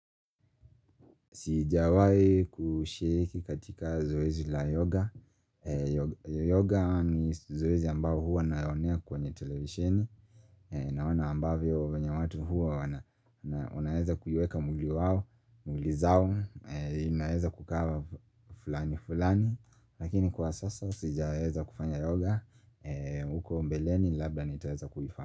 Sijawai kushiriki katika zoezi la yoga Yoga ni zoezi ambao huwa nayaonea kwenye televishini naona ambavyo venye watu huwa wana wanaeza kuiweka mwili wao, mili zao, naeza kukaa flani flani. Lakini kwa sasa sijaeza kufanya yoga huko mbeleni labda nitaeza kufanya.